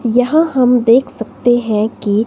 यहां हम देख सकते हैं कि--